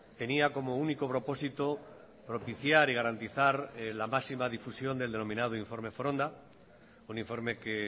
tenía como único propósito propiciar y garantizar la máxima difusión del denominado informe foronda un informe que